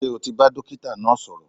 Ṣé o ti bá dókítà náà sọ̀rọ̀?